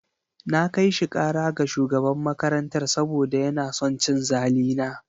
Na kai shi kara ga shugaban makarantar saboda yana son cin zali na.